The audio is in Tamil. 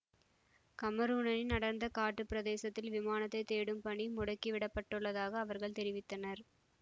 கமரூனனின் அடர்ந்த காட்டுப் பிரதேசத்தில் விமானத்தைத் தேடும் பணி முடுக்கி விடப்பட்டுள்ளதாக அவர்கள் தெரிவித்தனர்